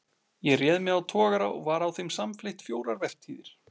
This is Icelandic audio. Ég réð mig á togara og var á þeim samfleytt fjórar vertíðir.